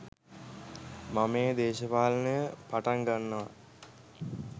මම ඒ දේශපාලනය පටන් ගන්නවා